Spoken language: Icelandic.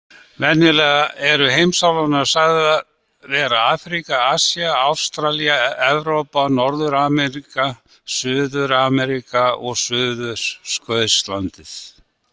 Venjulega eru heimsálfurnar sagðar vera Afríka, Asía, Ástralía, Evrópa, Norður-Ameríka, Suður-Ameríka og Suðurskautslandið.